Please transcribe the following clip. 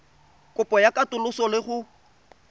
kopo ya katoloso le go